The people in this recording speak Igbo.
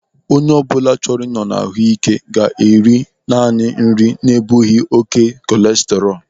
Onye ọbụla chọrọ ị nọ n'ahụ ike ga-eri naanị nri na-ebughi oké kọleserọlu.